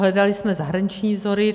Hledali jsme zahraniční vzory.